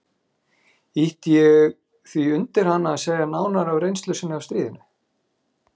Ýtti ég því undir hana að segja nánar af reynslu sinni af stríðinu.